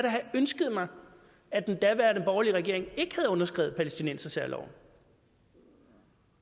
da have ønsket mig at den daværende borgerlige regering ikke havde underskrevet palæstinensersærloven